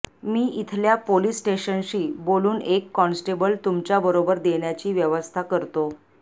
मी इथल्या पोलीस स्टेशनशी बोलुन एक कॉन्स्टेबल तुमच्या बरोबर देंण्याची व्यवस्था करतो